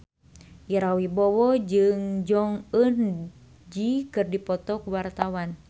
Ira Wibowo jeung Jong Eun Ji keur dipoto ku wartawan